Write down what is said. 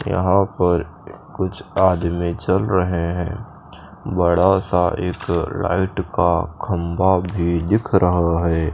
यहाँ पर कुछ आदमी चल रहे हैं बड़ा सा एक लाईट का खम्बा भी दिख रहा है।